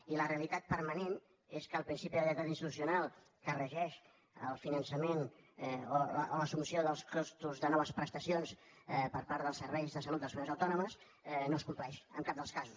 i la realitat permanent és que el principi de lleialtat institucional que regeix el finançament o l’assumpció dels costos de noves prestacions per part dels serveis de salut de les comunitats autònomes no es compleix en cap dels casos